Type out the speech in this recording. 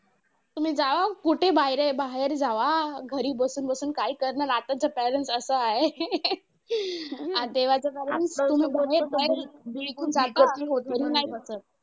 तुम्ही जावा कुठे बाहेर बाहेर जावा घरी बसून बसून काय करणार आताच parents असं आहे आणि तेव्हाचं काय इथून जाता